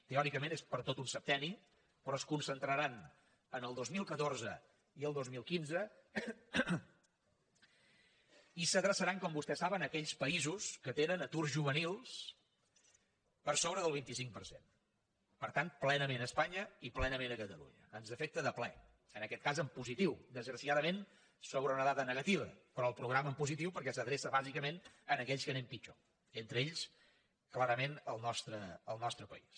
teòricament és per a tot un septenni però es concentraran en el dos mil catorze i el dos mil quinze i s’adreçaran com vostès saben a aquells països que tenen aturs juvenils per sobre del vint cinc per cent per tant plenament a espanya i plenament a catalunya ens afecta de ple en aquest cas en positiu desgraciadament sobre una dada negativa però el programa en positiu perquè s’adreça bàsicament a aquells que anem pitjor entre ells clarament el nostre país